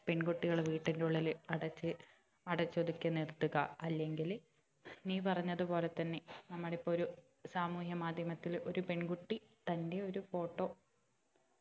പെൺകുട്ടികളെ വീട്ടിന്റെ ഉള്ളിൽ അടച്ച് അടച്ച് ഒതുക്കി നിർത്തുക അല്ലെങ്കില് നീ പറഞ്ഞത് പോലെ തന്നെ നമ്മുടെ ഇപ്പൊ ഒരു സാമൂഹ്യ മാധ്യമത്തില് ഒരു പെൺകുട്ടി തന്റെ ഒരു photo